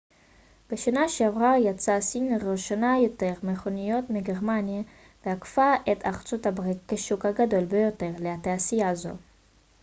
בשנה שעברה ייצאה סין לראשונה יותר מכוניות מגרמניה ועקפה את ארצות הברית כשוק הגדול ביותר לתעשייה זו